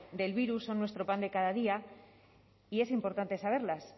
del virus son nuestro pan de cada día y es importante saberlas